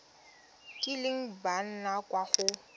kileng ba nna kwa go